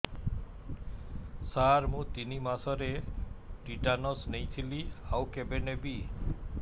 ସାର ମୁ ତିନି ମାସରେ ଟିଟାନସ ନେଇଥିଲି ଆଉ କେବେ ନେବି